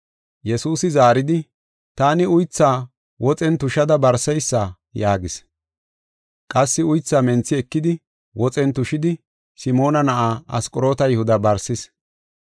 Yesuusi zaaridi, “Taani uythaa woxen tushada barseysa” yaagis. Qassi uythaa menthi ekidi, woxen tushidi, Simoona na7aa Asqoroota Yihuda barsis.